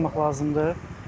Diqqətli olmaq lazımdır.